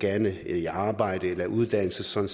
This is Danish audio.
gerne i arbejde eller i uddannelse sådan